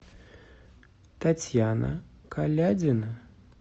татьяна колядина